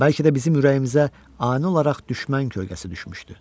Bəlkə də bizim ürəyimizə ani olaraq düşmən kölgəsi düşmüşdü.